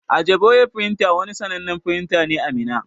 Ajiboye printer wani sannanen firinta ne a Minna.